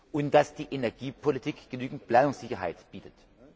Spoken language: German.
und dass die Energiepolitik genügend Planungssicherheit bietet.